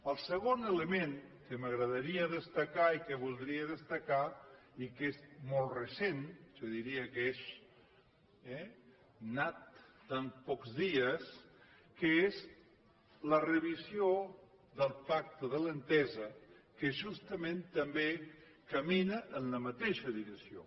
el segon element que m’agradaria destacar i que voldria destacar i que és molt recent jo diria que és eh nat de pocs dies és la reedició del pacte de l’entesa que justament també camina en la mateixa direcció